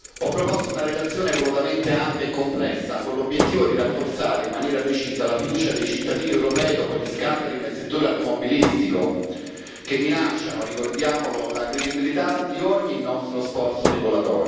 Ho proposto una relazione volutamente ampia e complessa, con l'obiettivo di rafforzare in maniera decisa la fiducia dei cittadini europei dopo gli scandali nel settore automobilistico, che minacciano, ricordiamolo, la credibilità di ogni nostro sforzo normativo.